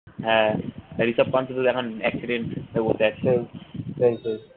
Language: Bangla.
হ্যাঁ রিসাব পান্থ তো এখন accident হয়ে বসে আছে